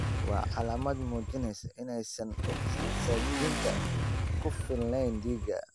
Waa calaamad muujinaysa inaysan ogsajiinta ku filnayn dhiigga.